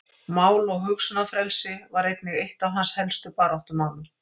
Mál- og hugsunarfrelsi var einnig eitt af hans helstu baráttumálum.